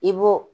I b'o